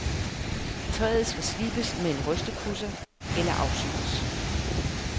Træet skal slibes med en rystepudser eller afsyres.